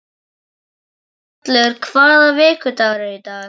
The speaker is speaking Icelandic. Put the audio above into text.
Gunnhallur, hvaða vikudagur er í dag?